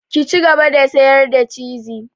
Ki cigaba da sayar da ciz!